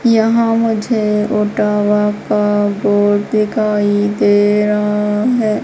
यहां मुझे ओटावा का गोद दिखाई दे रहा है।